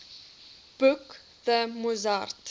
boek the mozart